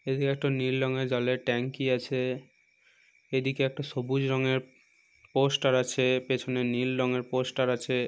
এদিকে একটা নীল রঙের জলের ট্যাঙ্ক -ই আছে এদিকে একটা সবুজ রঙের পোস্টার আছে পেছনে নীল রঙের পোস্টার আছে ।